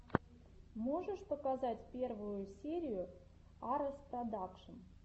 можешь показать первую серию арэс продакшн